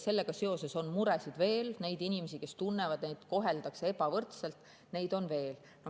Sellega seoses on muresid veel, neid inimesi, kes tunnevad, et neid koheldakse ebavõrdselt, on veel.